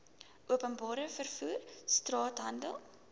openbare vervoer straathandel